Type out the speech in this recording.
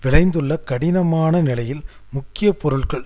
விளைந்துள்ள கடினமான நிலையில் முக்கிய பொருட்கள்